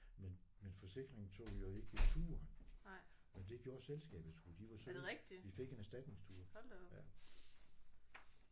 Men men forsikringen tog jo ikke turen. Men det gjorde selskabet sgu de var søde vi fik en erstatningstur ja